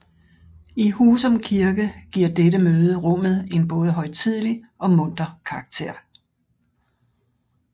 I Husum Kirke giver dette møde rummet en både højtidelig og munter karakter